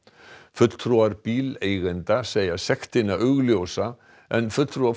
fulltrúar bíleigenda segja sektina augljósa en fulltrúar